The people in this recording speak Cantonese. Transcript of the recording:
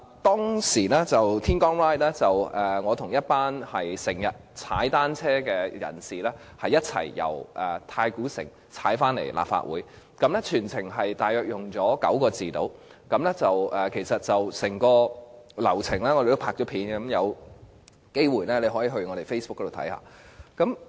當天在"天光 Ride" 的活動中，我與經常騎單車的人士一起由太古城騎單車到立法會，全程大約花了45分鐘，而我們已將整個流程拍攝成影片，大家有機會可以瀏覽我們的 Facebook。